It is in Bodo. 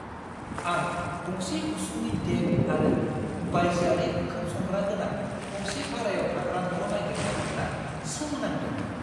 आं गंसे उसुंनि डेक आरो बायजोआरि ओंखाम संग्रा गोनां गंसे भारायाव थाग्रा न' नागिरना मोन्ना सोमोनांदोंमोन।